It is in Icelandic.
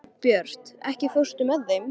Herbjört, ekki fórstu með þeim?